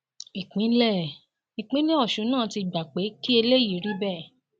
ìpínlẹ ìpínlẹ ọṣun náà ti gba pé kí eléyìí rí bẹẹ